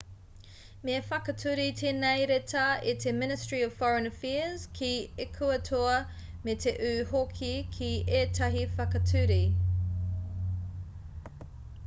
me whakature tēnei reta e te ministry of foreign affairs ki ekuatoa me te ū hoki ki ētahi whakature